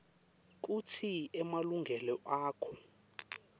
kutsi emalungelo akho